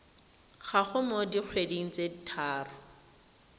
gago mo dikgweding tse tharo